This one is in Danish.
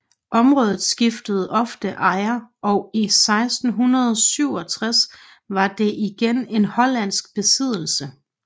Området skiftede ofte ejer og i 1667 var det igen en hollandsk besiddelse